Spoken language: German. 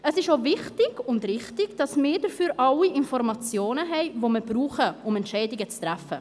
Es ist auch wichtig und richtig, dass wir dafür alle Informationen haben, die wir brauchen, um Entscheidungen zu treffen.